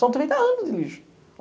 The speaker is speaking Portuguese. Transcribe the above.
São trinta anos de lixo.